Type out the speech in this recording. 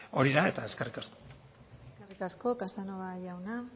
hori da eskerrik asko eskerrik asko casanova jauna